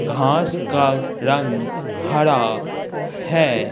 घास का रंग हरा है।